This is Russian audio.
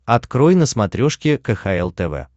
открой на смотрешке кхл тв